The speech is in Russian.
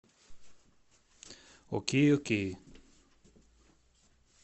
окей окей